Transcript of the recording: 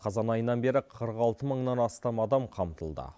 қазан айынан бері қырық алты мыңнан астам адам қамтылды